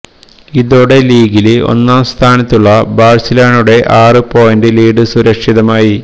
ഇതോടെ ലീഗില് ഒന്നാം സ്ഥാനത്തുള്ള ബാഴ്സലോണയുടെ ആറ് പോയിന്റി് ലീഡ് സുരക്ഷിതമായി